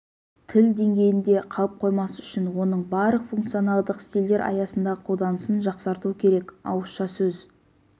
тіл деңгейінде қалып қоймас үшін оның барлық функционалдық стильдер аясындағы қолданысын жақсарту керек ауызша сөз